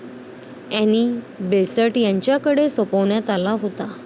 Annie Besant यांच्याकडे सोपवण्यात आला होता.